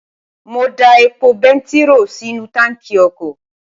mo da epo bẹntiró sínú táǹkì ọkọ̀